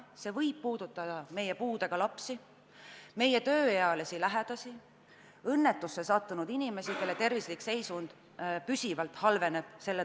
See võib puudutada meie puudega lapsi, meie tööealisi lähedasi, õnnetusse sattunud inimesi, kelle tervislik seisund pidevalt halveneb.